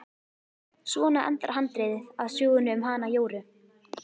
Svona endar handritið að sögunni um hana Jóru.